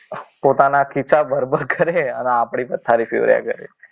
પોતાના ખિસ્સા બરોબર કરે અને આપણી પથારી ફેરવાઈ જાય.